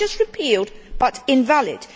Not just repealed, but invalid.